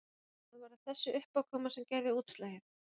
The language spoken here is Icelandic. En var það þessi uppákoma sem gerði útslagið?